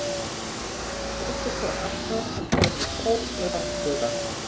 Uppstaða aflans verður Sól og Langflúra